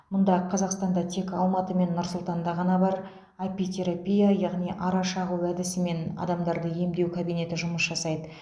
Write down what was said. мұңда қазақстанда тек алматы мен нұр сұлтанда ғана бар апитерапия яғни ара шағу әдісімен адамдарды емдеу кабинеті жұмыс жасайды